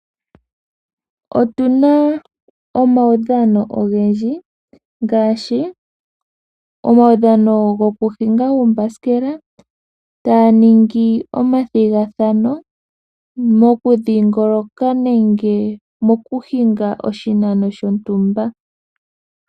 Otuna omaudhano ogendji ngaashi omaudhano goku hinga uumbasikela, taya ningi omathigathano taya dhingoloka nenge mokuhinga oshinano shontumba.